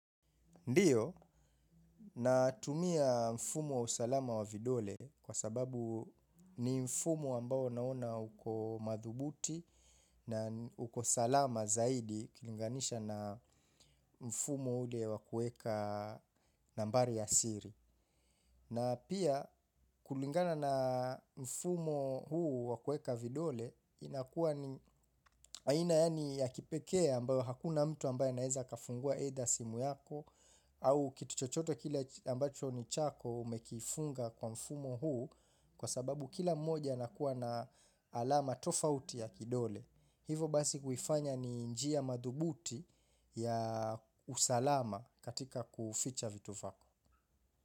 Ndiyo, natumia mfumo wa usalama wa vidole kwa sababu ni mfumo ambao naona uko madhubuti na uko salama zaidi kilinganisha na mfumo ule wa kuweka nambari ya siri. Na pia kulingana na mfumo huu wa kuweka vidole inakuwa ni aina yaani ya kipekee ambayo hakuna mtu ambaye anaweza kafungua either simu yako au kitu chochote kile ambacho ni chako umekifunga kwa mfumo huu kwa sababu kila mmoja anakuwa na alama tofauti ya kidole. Hivo basi huifanya ni njia madhubuti ya usalama katika kuficha vitu vako.